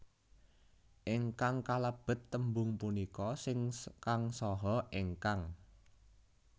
Ingkang kalebet tembung punika sing kang saha ingkang